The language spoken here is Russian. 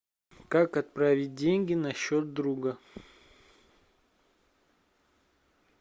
как отправить деньги на счет друга